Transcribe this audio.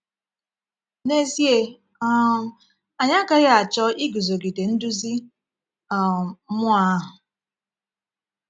N’ezie, um anyị agaghị achọ iguzogide nduzi um mmụọ ahụ.